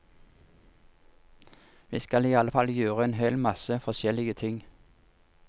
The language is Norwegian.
Vi skal i alle fall gjør en hel masse forskjellige ting.